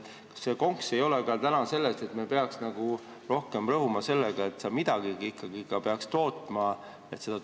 Kas konks ei ole selles, et me peaks rohkem rõhuma sellele, et toetuse saamiseks peaks midagi ikkagi tootma?